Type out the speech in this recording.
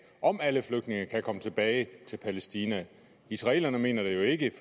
om alle flygtningene kan komme tilbage til palæstina israelerne mener det jo ikke